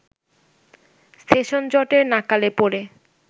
সেশনজটের নাকালে পড়ে